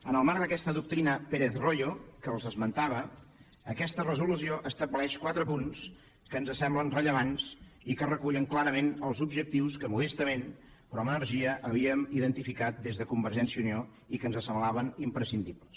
en el marc d’aquesta doctrina pérez royo que els esmentava aquesta resolució estableix quatre punts que ens semblen rellevants i que recullen clarament els objectius que modestament però amb energia havíem identificat des de convergència i unió i que ens semblaven imprescindibles